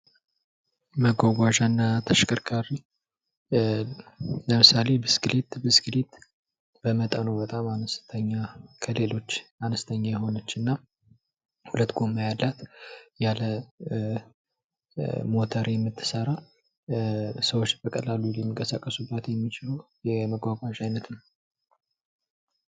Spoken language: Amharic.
መጓጓዣና ተሽከርካሪ ለምሳሌ ብስክሌት ከሌሎች በጣም አነስተኛ ሁለት ጎማ ያላት ያለ ሞተር የምትሰራ ሰዎች በቀላሉ ሊንቀሳቀሱባት የሚችሉ የመጓጓዣ አይነት ናት።